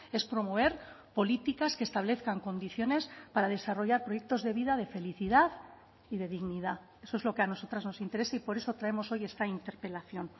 es promover políticas que establezcan condiciones para desarrollar proyectos de vida de felicidad y de dignidad eso es lo que a nosotras nos interesa y por eso traemos hoy esta interpelación